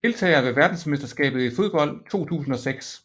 Deltagere ved verdensmesterskabet i fodbold 2006